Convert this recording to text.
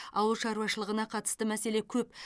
ауыл шаруашылығына қатысты мәселе көп